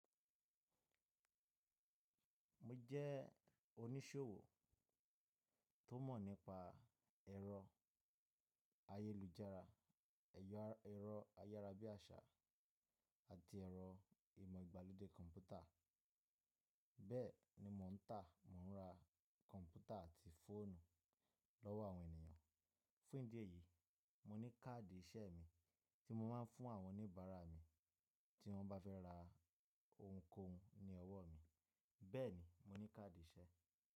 Mo jẹ́ oníṣòwò tó mọ̀ nípa ẹ̀rọ ayélujára, ẹ̀rọ ayára bí àṣá àti ẹ̀rọ ìmọ̀ ìgbàlódé kọ̀mpútà. Bẹ́ẹ̀ ni mò ń tà, mò ń ra kọ̀mpútà àti fóònù lọ́wọ́ àwọn ènìyàn. Fún ìdí èyí, mo ní káàdì iṣẹ́ mi tí mo máa ń fún àwọn oníbàárà mi tí wọ́n bá fẹ́ ra ohunkóhun ní ọwọ́ mi. Bẹ́ẹ̀ ni, mo ní káàdì iṣẹ́.